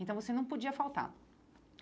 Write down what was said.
Então você não podia faltar.